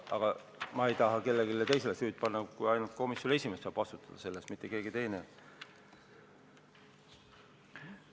Aga ma ei taha kellelegi teisele süüd panna, ainult komisjoni esimees saab selle eest vastutada, mitte keegi teine.